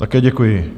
Také děkuji.